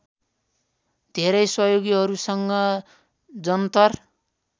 धेरै सहयोगीहरूसँग जन्तर